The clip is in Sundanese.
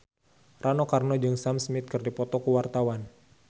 Rano Karno jeung Sam Smith keur dipoto ku wartawan